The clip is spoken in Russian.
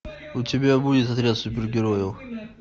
у тебя будет отряд супергероев